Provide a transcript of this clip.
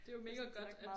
Det jo mega godt at